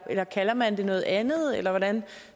eller kalder man det noget andet eller hvordan